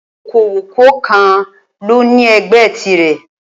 Okòwò kọọkan lóní ẹgbẹ́ tirè